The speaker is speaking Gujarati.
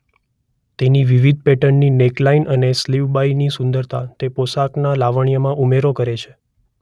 તેની વિવિધ પેટર્નની નેકલાઈન અને સ્લિવ્સ બાય ની સુંદરતા તે પોશાકના લાવણ્યમાં ઉમેરો કરે છે.